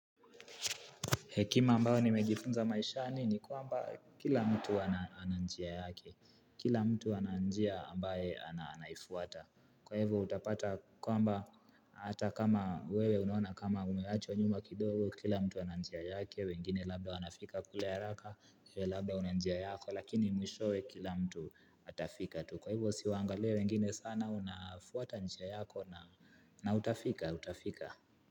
Hekima ambayo nimejifunza maishani ni kwamba kila mtu ana njia yake, kila mtu ana njia ambaye ananaifuata. Kwa hivyo utapata kwamba hata kama wewe unaona kama umeachwa nyuma kidogo, kila mtu ana njia yake, wengine labda wanafika kule haraka, wewe labda una njia yako, lakini mwishowe kila mtu atafika tu. Kwa hivyo usiwaangalie wengine sana unafuata njia yako na utafika, utafika.